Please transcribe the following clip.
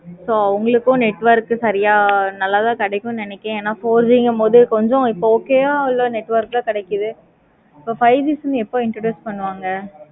so உங்களுக்கு network சரியா நல்லதா கிடைக்கும் நினைக்கேனே. ஏன பூர்விக போது இப்போ okay வா network கிடைக்காது. இப்போ five G sim எப்போ introduce பண்ணுவாங்க.